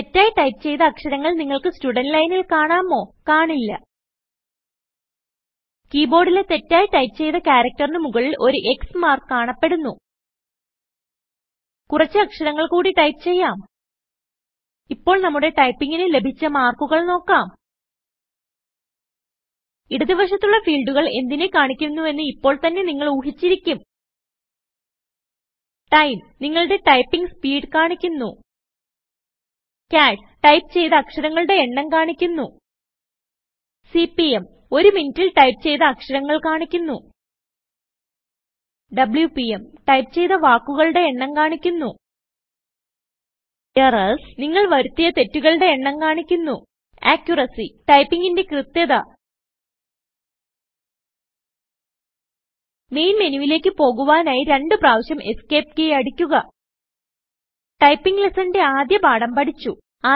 തെറ്റായി ടൈപ്പ് ചെയ്ത അക്ഷരങ്ങൾ നിങ്ങൾക്ക് സ്റ്റുടന്റ് ലൈനിൽ കാണാമോ160കാണില്ല കീബോർഡിലെ തെറ്റായി ടൈപ്പ് ചെയ്ത ക്യാരക്ടർ ന് മുകളിൽ ഒരു X മാർക്ക് കാണപ്പെടുന്നു കുറച്ച് അക്ഷരങ്ങൾ കൂടി ടൈപ്പ് ചെയ്യാം ഇപ്പോൾ നമ്മുടെ ടൈപ്പിംഗിന് ലഭിച്ച മാർക്കുകൾ നോക്കാം ഇടത് വശത്തുള്ള ഫീൽഡുകൾ എന്തിനെ കാണിക്കുന്നുവെന്ന് ഇപ്പോൾ തന്നെ നിങ്ങൾ ഊഹിച്ചിരിക്കും Time നിങ്ങളുടെ ടൈപ്പിംഗ് സ്പീഡ് കാണിക്കുന്നു Chars ടൈപ്പ് ചെയ്ത അക്ഷരങ്ങളുടെ എണ്ണം കാണിക്കുന്നു സിപിഎം ഒരു മിനിറ്റിൽ ടൈപ്പ് ചെയ്ത അക്ഷരങ്ങൾ കാണിക്കുന്നു WPM ടൈപ്പ് ചെയ്ത വാക്കുകളുടെ എണ്ണം കാണിക്കുന്നു Errors നിങ്ങൾ വരുത്തിയ തെറ്റുകളുടെ എണ്ണം കാണിക്കുന്നു Accuracy ടൈപ്പിങിന്റെ കൃത്ത്യത മെയിൻ മെനുവിലേക്ക് പോകുവാനായി രണ്ടു പ്രാവിശ്യംEscape കീ അടിക്കുക ടൈപ്പിംഗ് ലെസ്സണിന്റെ ആദ്യ പാഠം പഠിച്ചു160